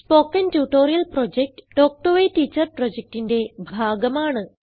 spoken tutorial project talk to a teacher പ്രൊജക്റ്റിന്റെ ഭാഗമാണ്